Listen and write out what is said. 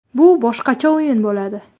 Bu boshqacha o‘yin bo‘ladi.